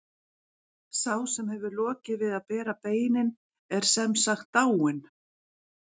Sá sem hefur lokið við að bera beinin er sem sagt dáinn.